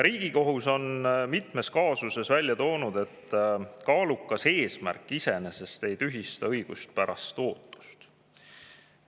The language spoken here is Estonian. Riigikohus on mitmes kaasuses välja toonud, et kaalukas eesmärk iseenesest ei tühista õiguspärast ootust.